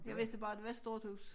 Jeg vidste bare det var et stort hus